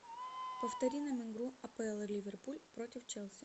повтори нам игру апл ливерпуль против челси